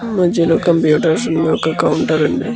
మద్యలో computers and ఒక counter ఉంది.